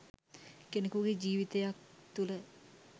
කෙනෙකුගේ ජීවිතයක් තුළ